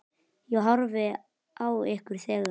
Ég horfði á ykkur þegar.